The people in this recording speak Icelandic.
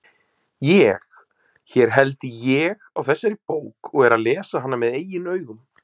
ÉG, hér held ÉG á þessari bók og er að lesa hana með eigin augum.